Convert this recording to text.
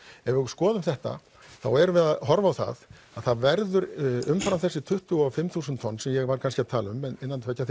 ef við skoðum þetta þá erum við að horfa á það að það verður umfram þessi tuttugu og fimm þúsund tonn sem ég var kannski að tala um innan tveggja